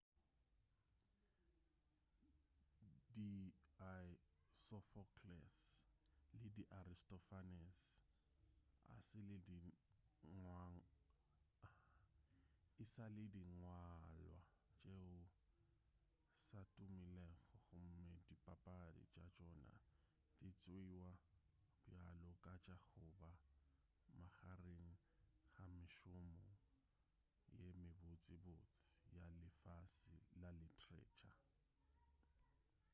di sophocles le di aristophanes e sa le dingwalwa tšeo sa tumilego gomme dipapadi tša tšona di tšeiwa bjalo ka tša goba magareng ga mešomo ye mebotsebotse ya lefase la literature